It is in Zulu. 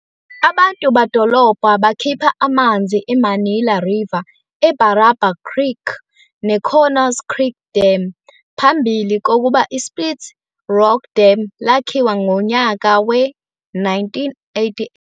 Abantu badolobha bakhipha amanzi eManilla River, eBarraba Creek, neConnors Creek Dam phambili kokuba ISplit Rock Dam lakhiwa ngonyaka we-1988.